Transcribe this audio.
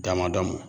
Damadamu